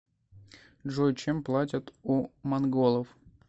джой чем платят у монголов